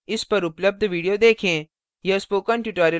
इस पर उपलब्ध video देखें